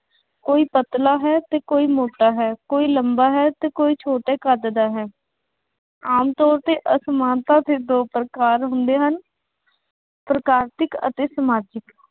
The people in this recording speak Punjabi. ਕੋਈ ਪਤਲਾ ਹੈ ਅਤੇ ਕੋਈ ਮੋਟਾ ਹੈ। ਕੋਈ ਲੰਬਾ ਹੈ ਅਤੇ ਕੋਈ ਛੋਟੇ ਕੱਦ ਦਾ ਹੈ। ਆਮ ਤੌਰ ਤੇ ਅਸਮਾਨਤਾ ਦੇ ਦੋ ਪ੍ਰਕਾਰ ਹੁੰਦੇ ਹਨ। ਪ੍ਰਕਾਸ਼ਿਕ ਅਤੇ ਸਮਾਜਿਕ।